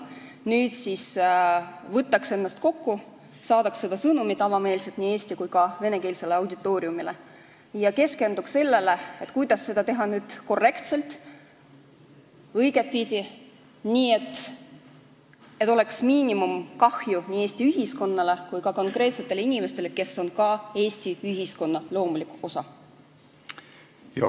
Nüüd siis võiks võtta ennast kokku, saata selle sõnumi avameelselt nii eesti- kui ka venekeelsele auditooriumile ja keskenduda sellele, kuidas seda teha korrektselt, õigetpidi, nii et kahju nii Eesti ühiskonnale kui ka konkreetsetele inimestele, kes on Eesti ühiskonna loomulik osa, oleks minimaalne.